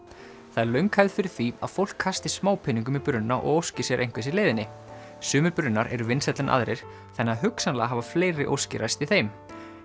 það er löng hefð fyrir því að fólk kasti smápeningum í brunna og óski sér einhvers í leiðinni sumir brunnar eru vinsælli en aðrir þannig að hugsanlega hafa fleiri óskir ræst í þeim